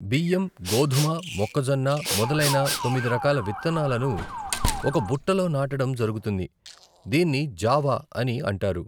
బియ్యం, గోధుమ, మొక్కజొన్న మొదలైన తొమ్మిది రకాల విత్తనాలను ఒక బుట్టలో నాటడం జరుగుతుంది, దీన్ని జావా అని అంటారు.